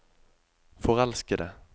forelskede